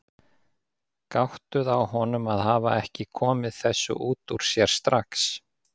Gáttuð á honum að hafa ekki komið þessu út úr sér strax.